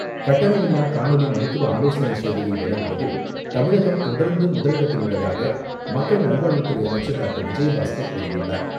கட்டணமில்லா காணொலி மருத்துவ ஆலோசனை சேவையை வழங்குவதில் தமிழகம் தொடர்ந்து முதலிடத்தில் உள்ளதாக மக்கள் நல்வாழ்வுத்துறை அமைச்சர் டாக்டர் விஜயபாஸ்கர் கூறியுள்ளார்.